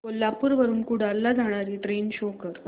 कोल्हापूर वरून कुडाळ ला जाणारी ट्रेन शो कर